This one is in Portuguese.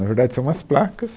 Na verdade, são umas placas.